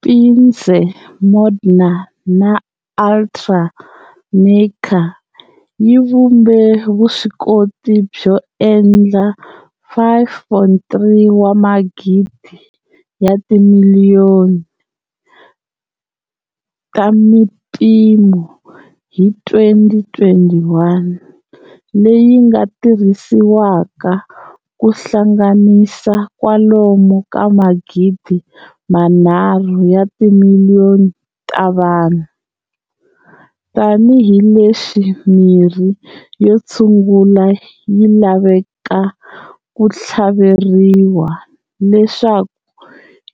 Pfizer, Moderna, na AtraZeneca yi vhumbe vuswikoti byo endla 5,3 wa magidi ya timiliyoni ta mimpimo hi 2021, leyi nga tirhisiwaka ku hlanganisa kwalomu ka magidi manharhu ya timiliyoni ta vanhu, tanihi leswi mirhi yo tshungula yi lavekaka ku thlaveriwa leswaku